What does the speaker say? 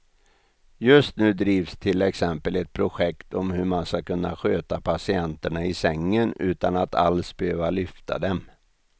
Just nu drivs till exempel ett projekt om hur man ska kunna sköta patienterna i sängen utan att alls behöva lyfta dem.